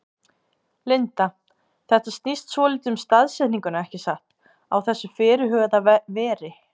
Linda: Þetta snýst svolítið um staðsetninguna ekki satt, á þessu þá fyrirhuguðu veri?